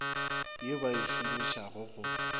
ye ba e šomišago go